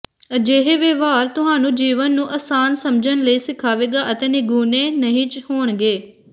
ਅਜਿਹੇ ਵਿਵਹਾਰ ਤੁਹਾਨੂੰ ਜੀਵਨ ਨੂੰ ਆਸਾਨ ਸਮਝਣ ਲਈ ਸਿਖਾਵੇਗਾ ਅਤੇ ਨਿਗੂਣੇ ਨਹੀਂ ਹੋਣਗੇ